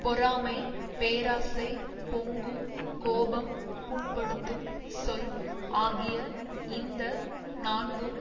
பொறாமை பேராசை பொங்கும் கோபம் புண்படுத்தும் சொல் ஆகிய இந்த நான்கும்